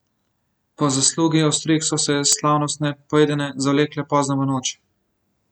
Po zaslugi ostrig so se slavnostne pojedine zavlekle pozno v noč.